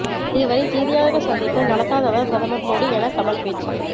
இதுவரை செய்தியாளர்கள் சந்திப்பு நடத்தாதவர் பிரதமர் மோடி என கமல் பேச்சு